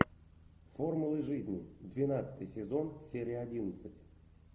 формулы жизни двенадцатый сезон серия одиннадцать